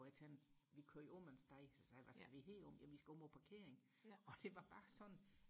hvor jeg tænkte vi kører jo omvej så sagde jeg hvad skal vi heromme jamen vi skal om og parkere og det var bare sådan